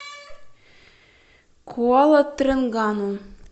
куала тренгану